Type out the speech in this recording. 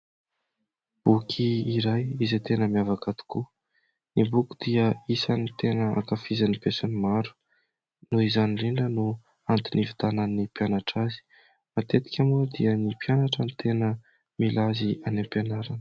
Boky iray izay tena miavaka tokoa. Ny boky dia isan'ny tena ankafizin'ny be sy ny maro, noho izany indrindra no antony ividianan'ny mpianatra azy. Matetika moa dia ny mpianatra ny tena mila azy any ampianarana.